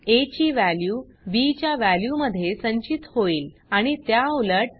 आ ची value B च्या value मध्ये संचित होईल आणि त्या उलट